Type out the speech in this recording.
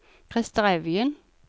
Krister Evjen